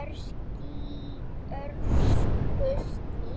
öskuskýi